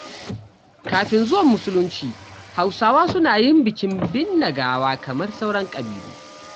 Kafin zuwan Musulunci, Hausawa suna yin bikin binne gawa kamar sauran ƙabilu.